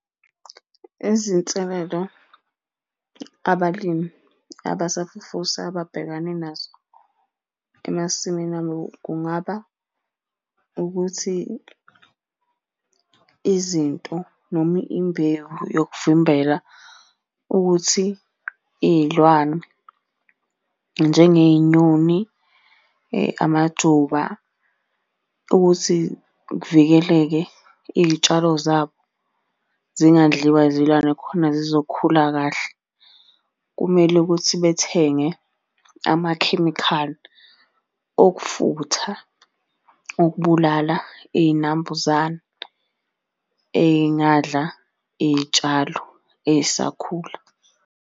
Izinselelo abalimi abasafufusa ababhekane nazo emasimini abo kungaba ukuthi izinto noma imbewu yokuvimbela ukuthi iy'lwane, njengey'nyoni amajuba, ukuthi kuvikeleke iy'tshalo zabo zingadliwa zilwane khona zizokhula kahle. Kumele ukuthi bethenge amakhemikhali okufutha ukubulala iy'nambuzane ey'ngada iy'tshalo ey'sakhula.